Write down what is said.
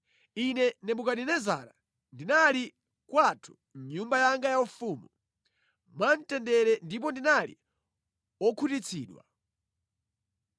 Ine Nebukadinezara, ndinali kwathu mʼnyumba yanga yaufumu, mwa mtendere ndipo ndinali wokhutitsidwa.